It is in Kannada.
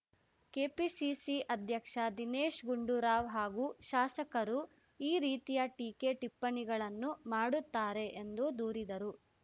ಕೆಪಿಸಿಸಿ ಐಧ್ಯಕ್ಷ ದಿನೇಶ್‌ ಗುಂಡೂರಾವ್‌ ಹಾಗೂ ಶಾಸಕರು ಈ ರೀತಿಯ ಟೀಕೆ ಟಿಪ್ಪಣಿಗಳನ್ನು ಮಾಡುತ್ತಾರೆ ಎಂದು ದೂರಿದರು